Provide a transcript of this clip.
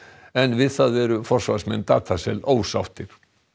en við það eru forsvarsmenn ósáttir